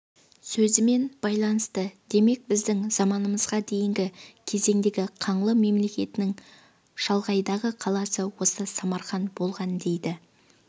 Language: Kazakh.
сөзімен байланысты демек біздің заманымызға дейінгі кезеңдегі қаңлы мемлекетінің шалғайдағы қаласы осы самарқан болған дейді